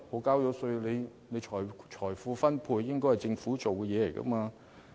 既然我們已繳稅，財富分配本應由政府負責。